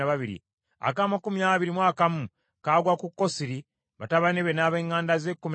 ak’amakumi abiri mu bubiri kagwa ku Giddaluti, batabani be n’ab’eŋŋanda ze, kkumi na babiri;